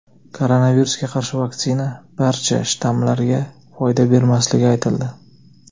Koronavirusga qarshi vaksina barcha shtammlarga foyda bermasligi aytildi.